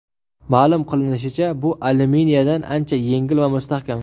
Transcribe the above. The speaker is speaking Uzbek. Ma’lum qilinishicha, bu alyuminiyadan ancha yengil va mustahkam.